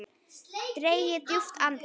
Dreg djúpt andann.